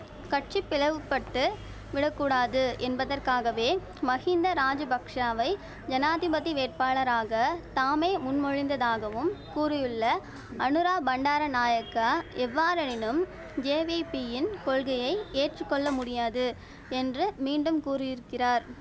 கட்சி பிளவுபட்டு விடக் கூடாது என்பதற்காகவே மகிந்த ராஜபக்ஷாவை ஜனாதிபதி வேட்பாளராக தாமே முன்மொழிந்ததாகவும் கூறியுள்ள அநுரா பண்டார நாயக்கா எவ்வாறெனினும் ஜேவிபியின் கொள்கையை ஏற்று கொள்ள முடியாது என்று மீண்டும் கூறியிருக்கிறார்